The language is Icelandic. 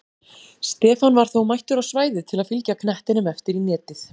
Stefán var þó mættur á svæðið til að fylgja knettinum eftir í netið!